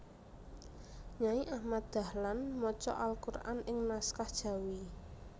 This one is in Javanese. Nyai Ahmad Dahlan maca Al Qur an ing naskah Jawi